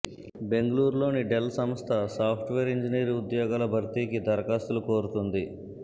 బెంగళూరులోని డెల్ సంస్థ software engineer ఉద్యోగాల భర్తీకి దరఖాస్తులు కోరుతోంది